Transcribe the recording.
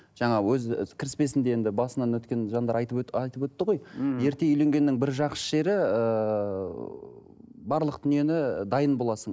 жаңа і кіріспесінде енді басынан өткен жандар айтып айтып өтті ғой мхм ерте үйленгеннің бір жақсы жері ыыы барлық дүниені дайын боласың